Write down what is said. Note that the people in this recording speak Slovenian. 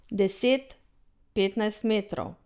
Deset, petnajst metrov.